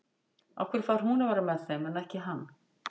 Af hverju fær hún að vera með þeim en ekki hann?